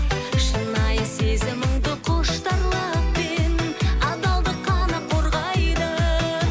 шынайы сезіміңді құштарлық пен адалдық қана қорғайды